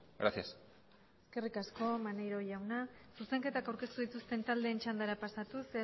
gracias eskerrik asko maneiro jauna zuzenketak aurkeztu dituzten taldeen txandara pasatuz